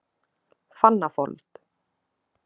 Fannafold